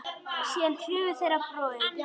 Síðan hurfu þeir á braut.